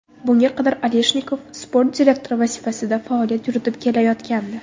Bunga qadar Aleshnikov sport direktori vazifasida faoliyat yuritib kelayotgandi.